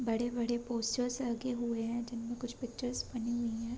बड़े-बड़े पोस्टर्स लगे हुए है जिनमे कुछ पिक्चर बनी हुई है।